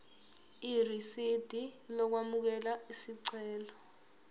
irisidi lokwamukela isicelo